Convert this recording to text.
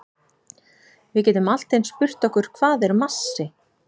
Við getum allt eins spurt okkur hvað er massi?